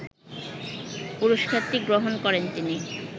পুরস্কারটি গ্রহণ করেন তিনি